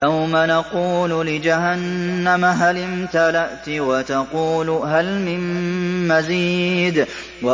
يَوْمَ نَقُولُ لِجَهَنَّمَ هَلِ امْتَلَأْتِ وَتَقُولُ هَلْ مِن مَّزِيدٍ